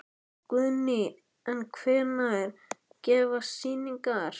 Guðný: En hvenær hefjast sýningar?